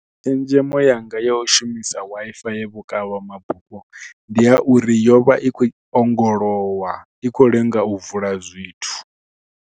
Tshenzhemo yanga yo shumisa Wi-Fi ya vhukavha mabufho ndi ya uri yo vha i khou ongolowa, i khou lenga u vula zwithu.